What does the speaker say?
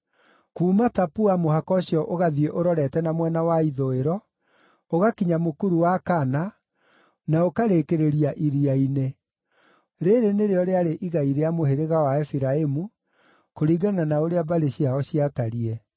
Kuuma Tapua mũhaka ũcio ũgathiĩ ũrorete na mwena wa ithũĩro, ũgakinya mũkuru wa Kana, na ũkarĩkĩrĩria iria-inĩ. Rĩĩrĩ nĩrĩo rĩarĩ igai rĩa mũhĩrĩga wa Efiraimu, kũringana na ũrĩa mbarĩ ciao ciatariĩ.